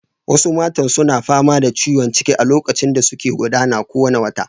Wasu matan suna fama da ciwon ciki a lokacin da suke gudana kowane wata.